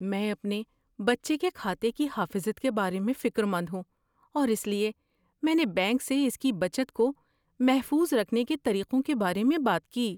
میں اپنے بچے کے کھاتے کی حافظت کے بارے میں فکر مند ہوں اور اس لیے میں نے بینک سے اس کی بچت کو محفوظ رکھنے کے طریقوں کے بارے میں بات کی۔